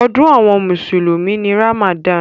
Ọdún àwọn mùsùlùmí ni Ramadan.